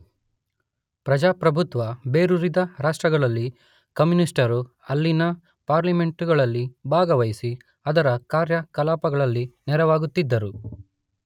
ಪ್ರಜಾಪ್ರಭುತ್ವ ಬೇರೂರಿದ ರಾಷ್ಟ್ರಗಳಲ್ಲಿ ಕಮ್ಯೂನಿಸ್ಟರು ಅಲ್ಲಿನ ಪಾರ್ಲಿಮೆಂಟುಗಳಲ್ಲಿ ಭಾಗವಹಿಸಿ ಅದರ ಕಾರ್ಯಕಲಾಪಗಳಲ್ಲಿ ನೆರವಾಗುತ್ತಿದ್ದರು.